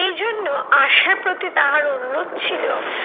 এই জন্য আশার প্রতি তাহার অনুরোধ ছিল,